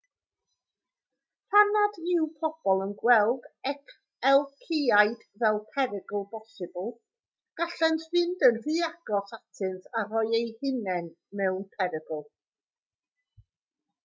pan nad yw pobl yn gweld elciaid fel perygl posibl gallent fynd yn rhy agos atynt a rhoi eu hunain mewn perygl